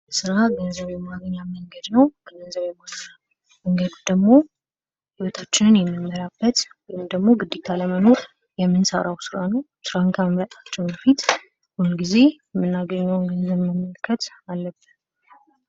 ስራ ገንዘብ የማግኘት መንገድ ነው። ከገንዘብ የማግህኛ መንገዱ ደግሞ ህይወታችንን የሚንመራበት ወይም ደግሞ ግዴታ ለመኖር የምንሰራው ስራ ነው። ስራን ከመምረጣችን በፊት ሁልጊዜ የምናገኘውን ገንዘብ መመልከት አለብን።